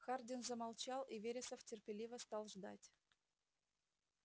хардин замолчал и вересов терпеливо стал ждать